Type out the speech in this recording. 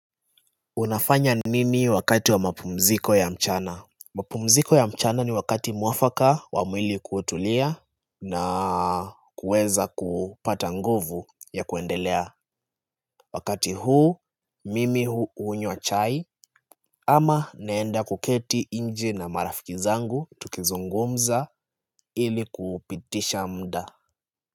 Unafanya nini wakati wa mapumziko ya mchana? Mapumziko ya mchana ni wakati mwafaka wa mwili kutulia na kuweza kupata nguvu ya kuendelea. Wakati huu, mimi hunywa chai ama naenda kuketi nje na marafiki zangu tukizungumza ili kupitisha muda.